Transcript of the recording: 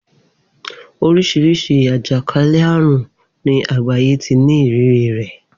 Oríṣiríṣi àjàkánlẹ̀ àrùn ni àgbáyé ti ní ìrírí rẹ̀.